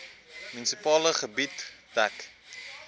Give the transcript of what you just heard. munisipale gebied dek